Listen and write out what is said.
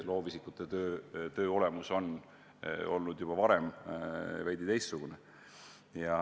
Loovisikute töö olemus on juba ammu olnud veidi teistsugune.